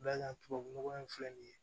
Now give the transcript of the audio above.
Da tubabu nɔgɔ in filɛ nin ye